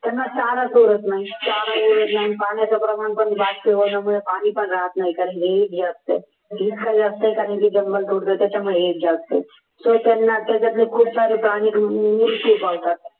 त्यांना चारा पुरत नाही पाण्याचे प्रमाण पण त्याच्यामुळे पाणी पण राहत नाही हे असते त्याच्यामुळे हे जास्त